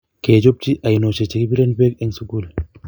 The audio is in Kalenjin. kechopchi oinoshek chegibiren beek eng sugul